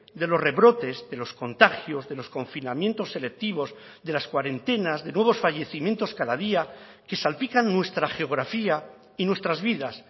de los rebrotes de los contagios de los confinamientos selectivos de las cuarentenas de nuevos fallecimientos cada día que salpican nuestra geografía y nuestras vidas